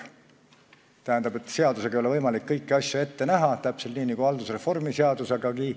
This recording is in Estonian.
Tähendab, seadusega ei ole võimalik kõiki asju ette näha, täpselt nii nagu ka haldusreformi seadusega mitte.